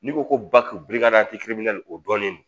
N'i ko ko ba k'u o dɔnnen don